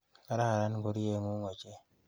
Kararan ngoryeng'ung' ochei.